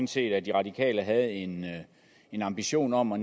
set at de radikale havde en en ambition om at